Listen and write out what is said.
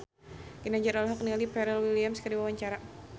Ginanjar olohok ningali Pharrell Williams keur diwawancara